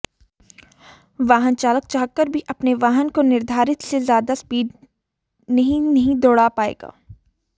वाहन चालक चाहकर भी अपने वाहन को निर्धारित से ज्यादा स्पीड नहीं नहीं दौड़ा पाएगा